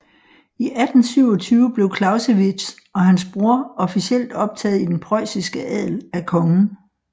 I 1827 blev Clausewitz og hans bror officielt optaget i den preussiske adel af kongen